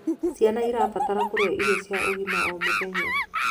Ciana irabatara kurĩa irio cia ũgima o mũthenya